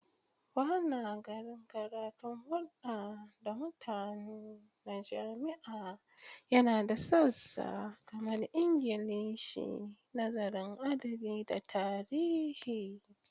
Banagarin karatun hurda da mutani na jami'a yana da sassa kamar Ingilishi, Nazarin Adabi, da Tarihi.